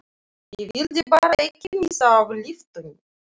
Ég vildi bara ekki missa af lyftunni!